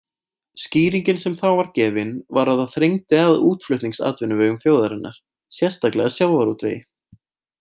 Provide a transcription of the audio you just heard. Skýringin sem þá var gefin var að það þrengdi að útflutningsatvinnuvegum þjóðarinnar, sérstaklega sjávarútvegi.